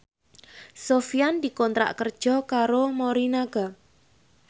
Sofyan dikontrak kerja karo Morinaga